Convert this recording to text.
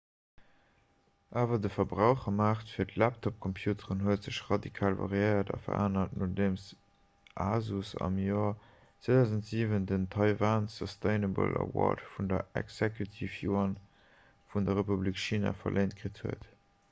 awer de verbrauchermaart fir laptopcomputere huet sech radikal variéiert a verännert nodeem asus am joer 2007 den taiwan sustainable award vun der exekutiv-yuan vun der republik china verléint kritt huet